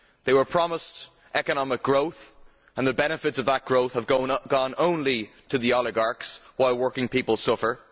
They were promised economic growth and the benefits of that growth have gone only to the oligarchs while working people suffer.